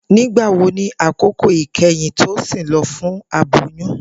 Nigbawo ni akoko ikẹhin Tosin lọ fun aboyun?